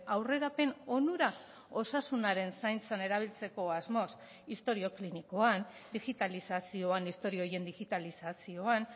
aurrerapen onura osasunaren zaintzan erabiltzeko asmoz istorio klinikoan digitalizazioan istorio horien digitalizazioan